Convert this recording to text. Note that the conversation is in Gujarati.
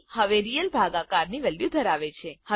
સી હવે રિયલ ભાગાકાર ની વેલ્યુ ધરાવે છે